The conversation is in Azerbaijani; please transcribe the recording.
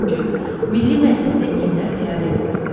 Üçüncü: Milli Məclisdə kimlər fəaliyyət göstərir?